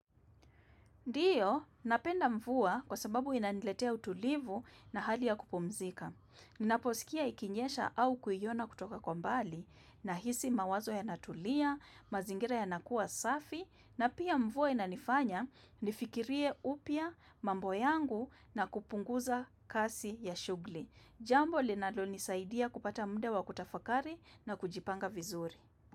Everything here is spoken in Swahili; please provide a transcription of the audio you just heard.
Ndiyo, napenda mvua kwa sababu inaniletea utulivu na hali ya kupumzika. Ninaposikia ikinyesha au kuiona kutoka kwa mbali nahisi mawazo yanatulia, mazingira yanakuwa safi na pia mvua inanifanya nifikirie upya mambo yangu na kupunguza kasi ya shughuli. Jambo linalo nisaidia kupata muda wa kutafakari na kujipanga vizuri.